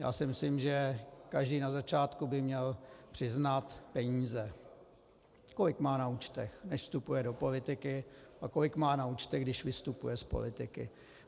Já si myslím, že každý na začátku by měl přiznat peníze, kolik má na účtech, než vstupuje do politiky, a kolik má na účtech, když vystupuje z politiky.